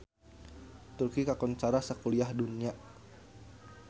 Turki kakoncara sakuliah dunya